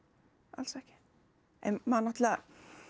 alls ekki en maður náttúrulega